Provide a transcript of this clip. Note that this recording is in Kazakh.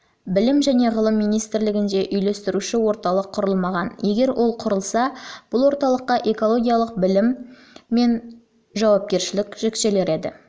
білім және ғылым министрлігінде үйлестіруші орталық құрылмаған егер құрылса бұл орталыққа экологиялық білім мен үшін жауапкершілік жүктелер еді